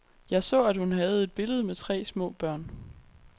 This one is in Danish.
Jeg så, at hun havde et billede med tre små børn.